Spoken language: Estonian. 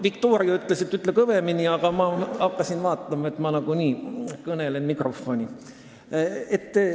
Viktoria ütles, et ütle kõvemini, aga ma hakkasin vaatama, et ma nagunii kõnelen mikrofoni.